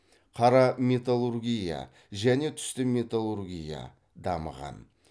қара металлургия және түсті металлургия дамыған